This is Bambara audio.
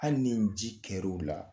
Hali ni nji kɛr'u la